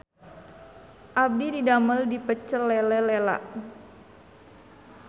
Abdi didamel di Pecel Lele Lela